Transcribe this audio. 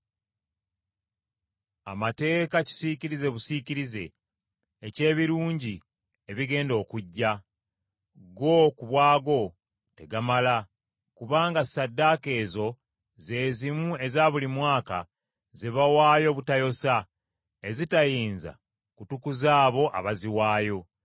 Amateeka kisiikirize busiikirize eky’ebirungi ebigenda okujja, go ku bwagwo tegamala, kubanga ssaddaaka ezo ze zimu eza buli mwaka ze bawaayo obutayosa ezitayinza kutukuza abo abaziwaayo.